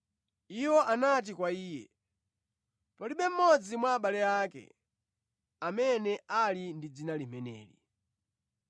Iwo anati kwa iye, “Palibe mmodzi mwa abale ake amene ali ndi dzina limeneli.”